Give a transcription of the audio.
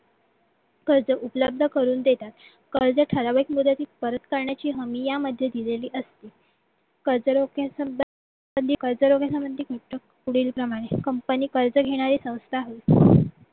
कर्जत उपलब्ध करून देतात कर्ज ठराविक मुदतीत परत करण्याची हमी यामध्ये दिलेली असते कर्जरोखे सुद्ध पुढील प्रमाणे company कर्ज घेणारे संस्था आहे